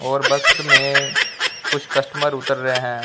और बस में कुछ कस्टमर उतर रहे है।